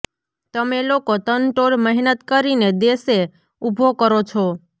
તમે લોકો તનતોડ મહેનત કરીને દેશે ઉભો કરો છો